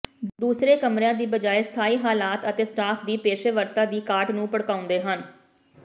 ਦੂਸਰੇ ਕਮਰਿਆਂ ਦੀ ਬਜਾਇ ਸਥਾਈ ਹਾਲਾਤ ਅਤੇ ਸਟਾਫ ਦੀ ਪੇਸ਼ੇਵਰਤਾ ਦੀ ਘਾਟ ਨੂੰ ਭੜਕਾਉਂਦੇ ਹਨ